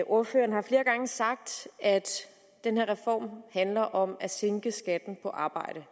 ordføreren har flere gange sagt at den her reform handler om at sænke skatten på arbejde